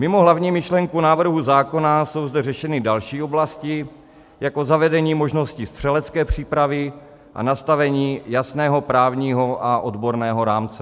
Mimo hlavní myšlenku návrhu zákona jsou zde řešeny další oblasti, jako zavedení možnosti střelecké přípravy a nastavení jasného právního a odborného rámce.